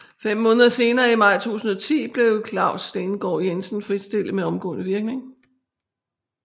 Fem måneder senere i maj 2010 blev Claus Stensgaard Jensen fritstillet med omgående virkning